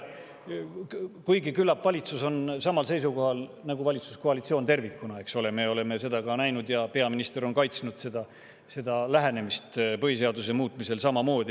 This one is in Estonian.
Kuigi küllap valitsus on samal seisukohal nagu valitsuskoalitsioon tervikuna, me oleme seda näinud ja peaminister on ka samamoodi kaitsnud seda lähenemist põhiseaduse muutmisele.